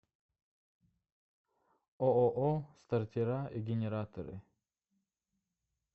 ооо стартера и генераторы